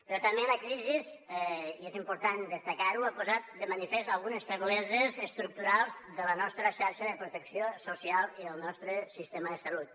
però també la crisi i és important destacar ho ha posat de manifest algunes febleses estructurals de la nostra xarxa de protecció social i del nostre sistema de salut